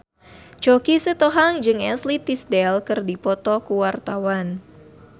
Choky Sitohang jeung Ashley Tisdale keur dipoto ku wartawan